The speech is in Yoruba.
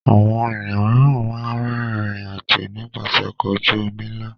Àwọn ènìyàn mìíràn máa ń rìnrìn-àjò nípasẹ̀ ọkọ̀ ojú-omi ńlá.